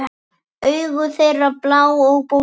Augu þeirra blá og bólgin.